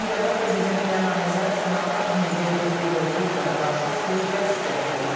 Kolumbiyada prezidentliyə namizəd, senator Migel Uribe Turbaya qarşı sui-qəsd cəhdi olub.